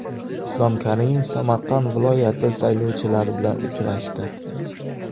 Islom Karimov Samarqand viloyati saylovchilari bilan uchrashdi.